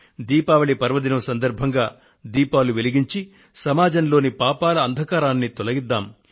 దీపావళి పర్వదినం సందర్భంగా దీపాలను వెలిగించి సమాజంలోని పాపాల అంధకారాన్ని తొలగిద్దాము